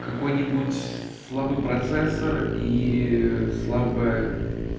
какой-нибудь слабый процессор и слабая